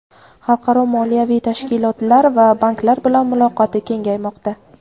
xalqaro moliyaviy tashkilotlar va banklar bilan muloqoti kengaymoqda.